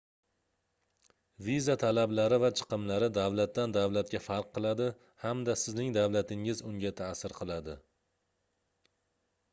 viza talablari va chiqimlari davlatdan davlatga farq qiladi hamda sizning davlatingiz unga taʼsir qiladi